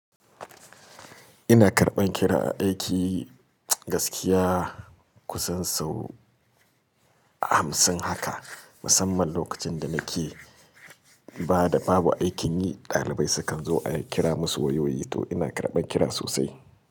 Ina karɓan kira aiki gaskiya kusan sau hamsin haka. Musamman lokacin da nake ba da babu aikin yi, ɗalibai sukan zo a kira musu wayoyi to ina karɓan kira sosai.